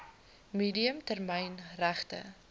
medium termyn regte